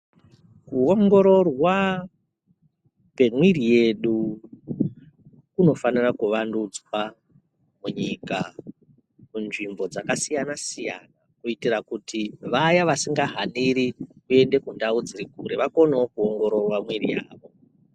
Kuongororwa kwemwiri yedu kunofanira kuvandudzwa munyika kunzvimbo dzakasiyana siyana kuitira kuti vaya vasingahaniri kundau dziri kure vakonewo kuongororwa mwiri yavo.